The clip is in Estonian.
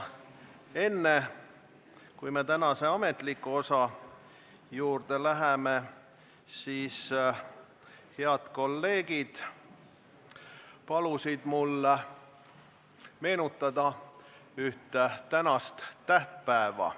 Enne kui me tänase ametliku osa juurde läheme, ütlen, et head kolleegid palusid mul meenutada ühte tähtpäeva.